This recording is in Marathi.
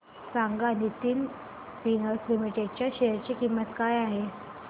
सांगा नितिन स्पिनर्स लिमिटेड च्या शेअर ची किंमत काय आहे